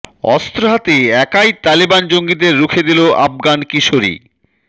অস্ত্র হাতে একাই তালেবান জঙ্গিদের রুখে দিলো আফগান কিশোরী